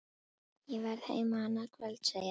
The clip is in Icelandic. Ég verð heima annað kvöld, segir hann.